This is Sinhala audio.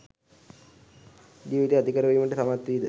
ජීවිතයේ ඇතිකරවීමට සමත්වීද?